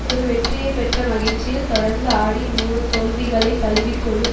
ஒரு வெற்றியை பெற்ற மகிழ்ச்சியில் தொடர்ந்து ஆடி நூறு தோல்விகளைத் தழுவிக்கொள்ளும்